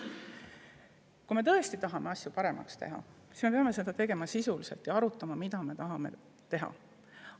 Kui me tõesti tahame asju paremaks teha, siis peame seda tegema sisuliselt ja arutama, mida me tahame teha.